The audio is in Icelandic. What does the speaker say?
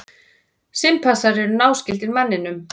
Simpansar eru náskyldir manninum.